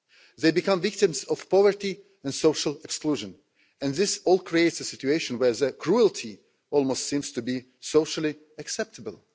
They become victims of poverty and social exclusion, and this all creates a situation where cruelty almost seems to be socially acceptable.